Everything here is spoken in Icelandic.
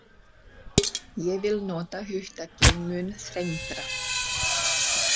Ég vil nota hugtakið mun þrengra.